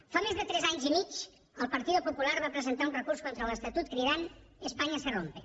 fa més de tres anys i mig el partido popular va presentar un recurs contra l’estatut cridant espanya se rompe